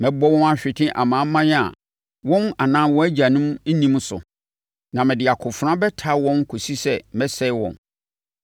Mɛbɔ wɔn ahwete amanaman a wɔn anaa wɔn agyanom nnim so, na mede akofena bɛtaa wɔn kɔsi sɛ mɛsɛe wɔn.”